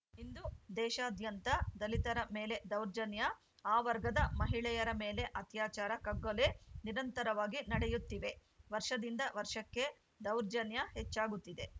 ಇಂದು ದೇಶಾದ್ಯಂತ ದಲಿತರ ಮೇಲೆ ದೌರ್ಜನ್ಯ ಆ ವರ್ಗದ ಮಹಿಳೆಯರ ಮೇಲೆ ಅತ್ಯಾಚಾರ ಕಗ್ಗಲೆ ನಿರಂತರವಾಗಿ ನಡೆಯುತ್ತಿವೆ ವರ್ಷದಿಂದ ವರ್ಷಕ್ಕೆ ದೌರ್ಜನ್ಯ ಹೆಚ್ಚಾಗುತ್ತಿದೆ